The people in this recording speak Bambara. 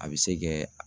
A bɛ se kɛ